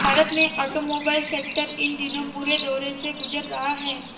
भारत में automobile sector इन दिनों बुरे दौर से गुजर रहा है